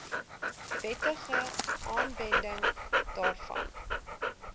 wettige aanwending daarvan